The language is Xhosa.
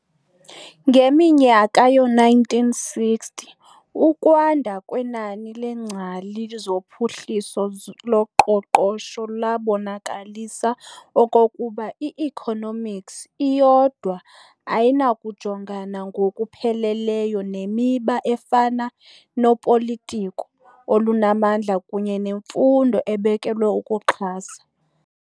Ngeminyaka yoo-1960, ukwanda kwenani leengcali zophuhliso loqoqosho labonakalisa okokuba i-economics iyodwa ayinakujongana ngokupheleleyo nemiba efana nopolitiko olunamandla kunye nemfundo ebekelwe ukuxhasa.